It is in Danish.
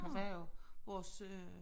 Hun var jo vores øh